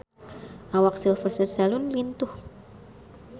Awak Sylvester Stallone lintuh